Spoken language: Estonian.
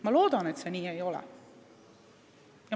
Ma loodan, et see nii ei ole.